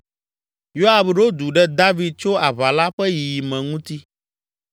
Yoab ɖo du ɖe David tso aʋa la ƒe yiyime ŋuti.